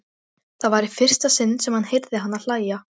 Það var í fyrsta sinn sem hann heyrði hana hlæja.